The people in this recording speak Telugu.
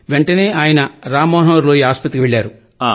వెంటనే ఆయన రామ్ మనోహర్ లోహియా ఆస్పత్రికి వెళ్లారు